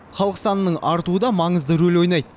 халық санының артуы да маңызды рөл ойнайды